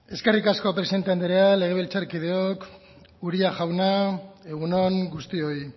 eskerrik asko presidente andrea legebiltzarkideok uria jauna egun on guztioi